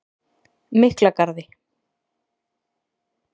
Miklagarði